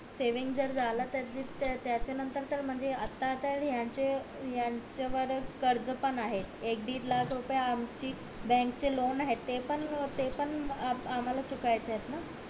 saving जर झाला तर त्याच्या नंतर त म्हणजे आता तर यांचे यांच्या वर कर्ज पण आहे एक दीड लाख रुपये आमची बँक चे लोण आहे ते पण ते पण आम्हला चुकवायचेत ना